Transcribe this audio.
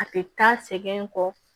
A tɛ taa sɛgɛn kɔ